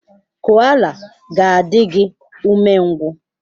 Koala ga-adị gị umengwụ.